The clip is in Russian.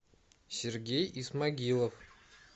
сергей исмагилов